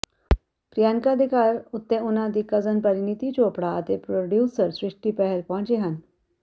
ਪ੍ਰਿਯੰਕਾ ਦੇ ਘਰ ਉੱਤੇ ਉਨ੍ਹਾਂ ਦੀ ਕਜ਼ਨ ਪਰੀਨੀਤੀ ਚੋਪੜਾ ਅਤੇ ਪ੍ਰੋਡਿਊਸਰ ਸ੍ਰਸ਼ਟਿ ਬਹਿਲ ਪਹੁੰਚੇ ਹਨ